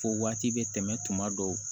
Fo waati bɛ tɛmɛ tuma dɔw